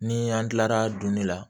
Ni an tilara duni la